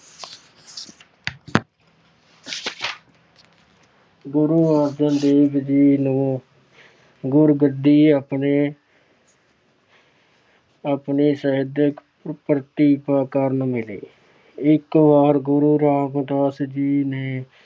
ਗੁਰੂ ਅਰਜਨ ਦੇਵ ਜੀ ਨੂੰ ਗੁਰਗੱਦੀ ਆਪਣੇ ਅਹ ਆਪਣੇ ਸਾਹਿਤ ਪ੍ਰਤਿਭਾ ਕਾਰਨ ਮਿਲੀ। ਇੱਕ ਵਾਰ ਗੁਰੂ ਰਾਮਦਾਸ ਜੀ ਨੇ